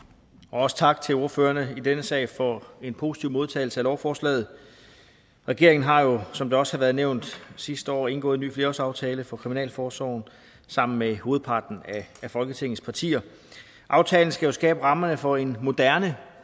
også tak til ordførerne i denne sag for en positiv modtagelse af lovforslaget regeringen har jo som det også har været nævnt sidste år indgået en ny flerårsaftale for kriminalforsorgen sammen med hovedparten af folketingets partier aftalen skal skabe rammerne for en moderne